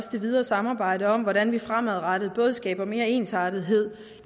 det videre samarbejde om hvordan vi fremadrettet skaber mere ensartethed